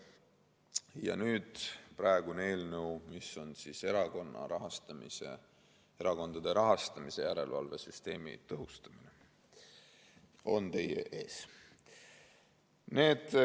Ja praegune eelnõu, erakondade rahastamise järelevalve süsteemi tõhustamine, on nüüd teie ees.